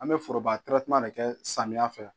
An bɛ foroba de kɛ samiya fɛ